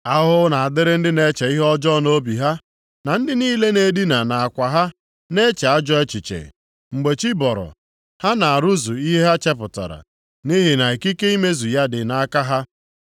Ahụhụ na-adịrị ndị na-eche ihe ọjọọ nʼobi ha, na ndị niile na-edina nʼakwa ha na-eche ajọ echiche. Mgbe chi bọrọ, ha na-arụzu ihe ha chepụtara, nʼihi na ikike imezu ya dị nʼaka ha.